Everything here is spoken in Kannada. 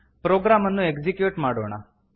ಪ್ರೊಗ್ರಾಮ್ ಅನ್ನು ಎಕ್ಸಿಕ್ಯೂಟ್ ಮಾಡೋಣ